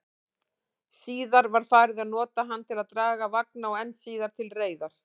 Síðar var farið að nota hann til að draga vagna, og enn síðar til reiðar.